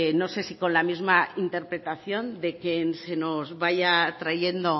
no sé si con la misma interpretación de que se nos vaya trayendo